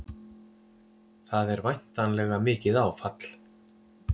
Það er væntanlega mikið áfall?